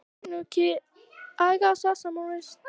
Sumt yrði hann einfaldlega að sjá um sjálfur.